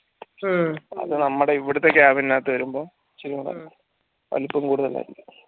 അത് നമ്മളെ ഇവിടെത്തെ അകത്തു വെരുമ്പം ഇച്ചിരി കൂടെ വലുപ്പം കൂടിത്തലായിരിക്കും